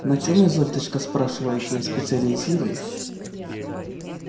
на чём изольдочка спрашиваете я специализируюсь